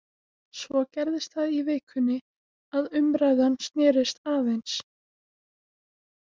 Svo gerðist það í vikunni að umræðan snerist aðeins.